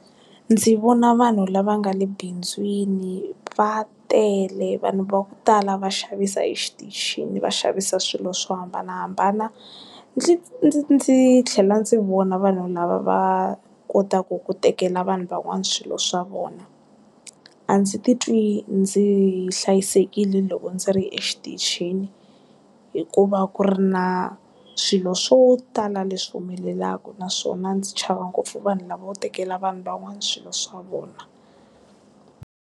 Ndzi vona vanhu lava nga le bindzwini va tele vanhu va ku tala va xavisa exitichini va xavisa swilo swo hambanahambana ndzi ndzi ndzi tlhela ndzi vona vanhu lava va kotaku ku tekela vanhu van'wana swilo swa vona a ndzi titwi ndzi hlayisekile loko ndzi ri exitichini hikuva ku ri na swilo swo tala leswi humelelaku naswona ndzi chava ngopfu vanhu lava vo tekela vanhu van'wana swilo swa vona.